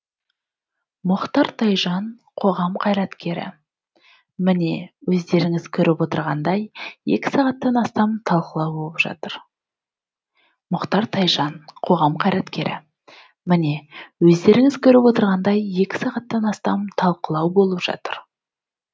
мұхтар тайжан қоғам қайраткері міне өздеріңіз көріп отырғандай екі сағаттан астам талқылау болып жатыр